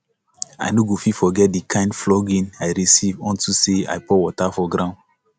i no go fit forget the kin flogging i receive unto say i pour water for ground